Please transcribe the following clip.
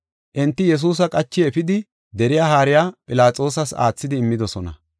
Enti Yesuusa qachi efidi deriya haariya Philaxoosas aathidi immidosona.